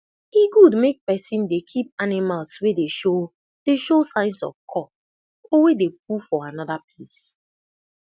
e good make person dey keep animals wey dey show dey show signs of cough or wey dey poop for another place